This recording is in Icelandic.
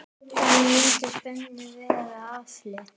Þannig mundi spennu verða aflétt.